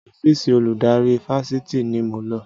Ọ́fíìsì olùdarí Fáṣitì ni mo lọ